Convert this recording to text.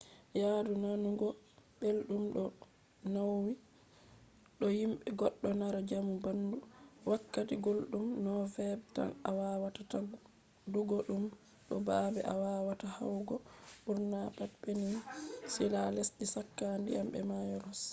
yaadu nanugo beldum do nawi do yidi goddo mara jamu bandu wakkati guldum nov-feb tan a wawata wadugo dum bo babe a wawata yahugo burna pat peninsula lesde chaka dyam be mayo ross